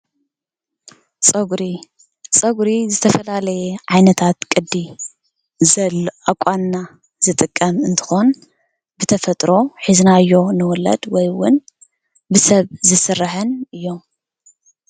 ፀጉሪ፦ ፀጉሪ ዝተፈላለየ ዓይነታት ቅዲ ዘለዎ ኣቋንና ዝጥቀም እንትኾን ብተፈጥሮ ሒዝናዮ ንዉለድ ወይዉን ብሰብ ዝስራሕን እዮም።